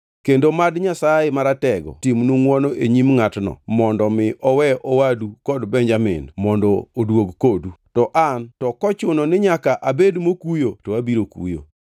Kendo mad Nyasaye Maratego timnu ngʼwono e nyim ngʼatno mondo mi owe owadu kod Benjamin mondo oduog kodu. To an to kochuno ni nyaka abed mokuyo to abiro kuyo.”